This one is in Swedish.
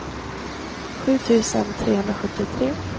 sju tusen trehundrasjuttiotre